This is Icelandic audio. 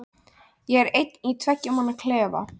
Ég er einn í tveggja manna klefa.